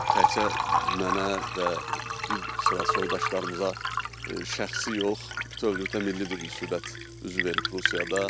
Təkcə mənə və bir sıra soydaşlarımıza şəxsi yox, bütövlükdə milli bir müsibət üzü verib Rusiyada.